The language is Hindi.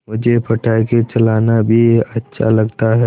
मुझे पटाखे चलाना भी अच्छा लगता है